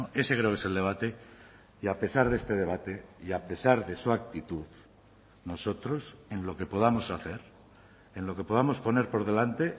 ese creo que es el debate y a pesar de este debate y a pesar de su actitud nosotros en lo que podamos hacer en lo que podamos poner por delante